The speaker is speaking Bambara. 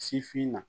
Sifinna